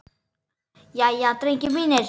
Jæja, drengir mínir!